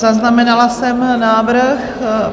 Zaznamenala jsem návrh.